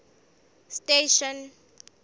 station